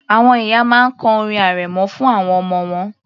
Àwọn ìyá máa ń kọ orin arẹmọ fún àwọn ọmọ wọn